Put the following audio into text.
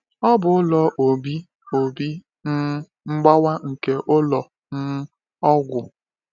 Ọ bụ ụlọ Obi Obi um Mgbawa nke ụlọ um ọgwụ.